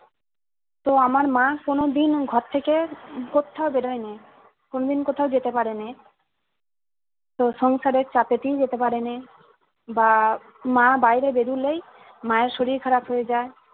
তো আমার মা কোনোদিন ঘর থেকে কোথাও বের হয়নে কোনদিন কোথাও যেতে পারেনে তো সংসারের চাপেতেই যেতে পারেনে বা মা বাইরে বেরুলেই মা এর শরীর খারাপ হয়ে যায়